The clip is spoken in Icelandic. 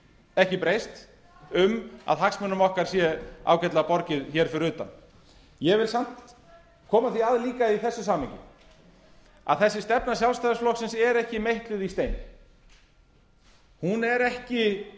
ekki breyst um að hagsmunum okkar sé ágætlega borgið hér fyrir utan ég vil samt koma því að líka í þessu samhengi að þessi stefna sjálfstæðisflokksins er ekki meitluð í stein hún er ekki